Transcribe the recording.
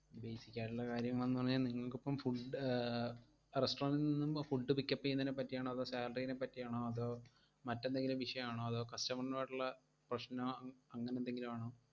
basic ആയിട്ടുള്ള കാര്യങ്ങൾ എന്നു പറഞ്ഞാൽ നിങ്ങക്കിപ്പം food ആഹ് restaurant ഇൽ നിന്നും food pick up എയ്യുന്നതിനെപ്പറ്റിയാണോ അതോ salary ഈനെപ്പറ്റിയാണോ അതോ മറ്റെന്തെങ്കിലും വിഷയാണോ അതോ customer ഉമായിട്ടുള്ള പ്രശ്നോ അങ്ങ്~ അങ്ങനെന്തെങ്കിലുമാണോ?